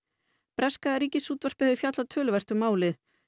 breska Ríkisútvarpið hefur fjallað töluvert um málið